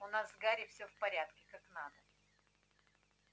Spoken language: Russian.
у нас с гарри всё в порядке как надо